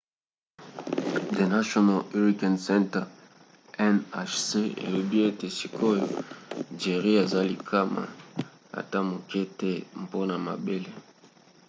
the national hurricane center nhc elobi ete sikoyo jerry eza likama ata moke te mpona mabele